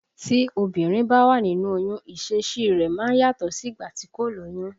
Tí obìnrin bá wà nínú oyún, ìṣesí i rẹ̀ máa yàtọ̀ sí ìgbà tí kò lóyún